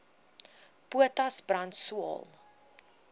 potas brand swael